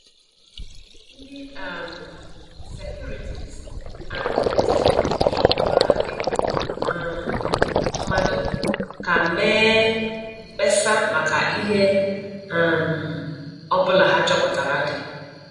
Ndị um Securities and Exchange Commission gwara ndị um mmadụ ka mee mkpesa maka ihe um ọbụla ha chọpụtara dị